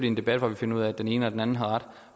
en debat hvor vi finder ud af at den ene eller den anden har ret